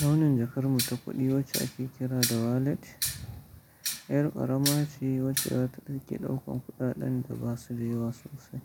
Launin jakar mu ta kuɗi wacce ake kira da wallet, ƴar ƙarama ce wacce za ta ɗauki ɗaukan kuɗaɗen da ba su da yawa sosai,